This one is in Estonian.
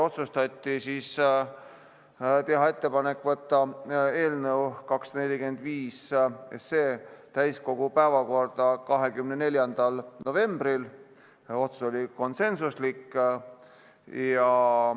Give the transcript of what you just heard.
Otsustati teha ettepanek võtta eelnõu 245 täiskogu päevakorda 24. novembriks – otsus oli konsensuslik.